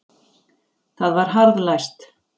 Það var harðlæst.